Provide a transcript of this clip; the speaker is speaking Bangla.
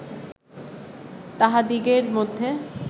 তাহাদিগের মধ্যে